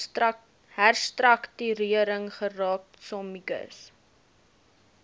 herstruktuering geraak sommiges